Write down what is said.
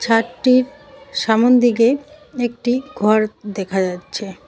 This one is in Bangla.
ছাদটির সামোনদিকে একটি ঘর দেখা যাচ্ছে।